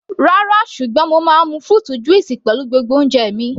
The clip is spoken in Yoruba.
Rárá, ṣùgbọ́n mo máa ń mu fruit juice pẹ̀lú gbogbo oúnjẹ mi.